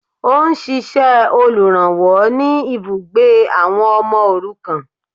Ó n ṣíṣẹ olùrànwọ́ ni ibùgbé àwọn ọmọ òrukàn